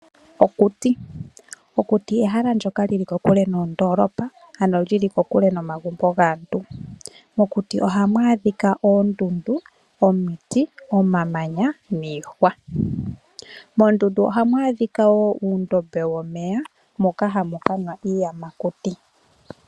Okuti, okuti ehala ndyoka lyili kokule noondoolopa ano lyili kokule nomagumbo gaantu. Mokuti ohamu adhika oondundu, omiti, omamanya, niihwa, moondundu ohamu adhika woo uundombe womeya moka hamu kanwa iiyamakuti.